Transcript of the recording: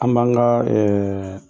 An b'an ka